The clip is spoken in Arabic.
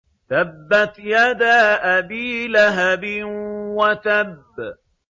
تَبَّتْ يَدَا أَبِي لَهَبٍ وَتَبَّ